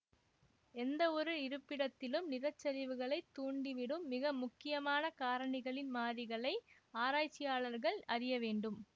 எந்தவொரு இருப்பிடத்திலும் நிலச்சரிவுகளைத் தூண்டிவிடும் மிக முக்கியமான காரணிகளின் மாறிகளை ஆராய்ச்சியாளர்கள் அறிய வேண்டும்